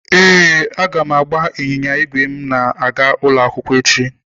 Ee, m ga-agba ịnyịnya ígwè m na-aga ụlọ akwụkwọ echi.